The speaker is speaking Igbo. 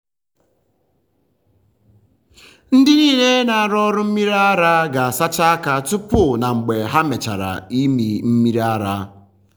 ndị niile na-arụ ọrụ mmiri ara ga-asacha aka tupu na mgbe ha mechara ịmị mmiri ara.